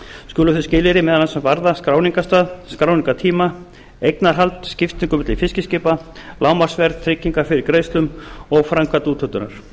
skulu þau skilyrði meðal annars varða skráningarstað skráningartíma eignarhald skiptingu milli fiskiskipa lágmarksverð tryggingar fyrir greiðslum og framkvæmd úthlutunar